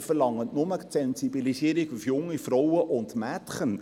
Sie verlangen nur die Sensibilisierung auf junge Frauen und Mädchen.